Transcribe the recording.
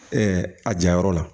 a jayɔrɔ la